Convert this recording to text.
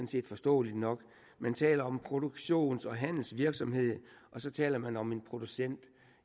set forståeligt nok man taler om produktions og handelsvirksomhed og så taler man om en producent